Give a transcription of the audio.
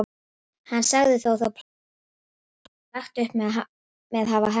Hann sagði þó það plan sem hann hafði lagt upp með hafa heppnast.